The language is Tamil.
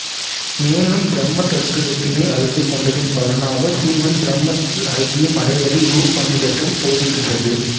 மேலும் பிரம்ம தத்துவத்தினை அறிந்து கொண்டதின் பலனாக சீவன் பிரம்மத்தில் ஐக்கியம் அடைவதை இவ்வுபநிடதம் போதிக்கிறது